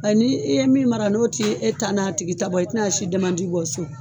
Ni e ye min mara n'o tɛ e ta n'a tigi ta bɔ, i tɛna si bɔ so